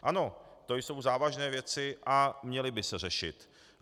Ano, to jsou závažné věci a měly by se řešit.